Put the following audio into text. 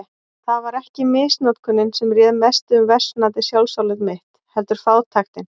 Það var ekki misnotkunin sem réð mestu um versnandi sjálfsálit mitt, heldur fátæktin.